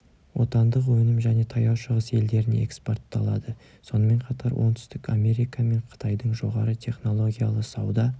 отандық өнім және таяу шығыс елдеріне экспортталады сонымен қатар оңтүстік америка мен қытайдың жоғары технологиялы сауда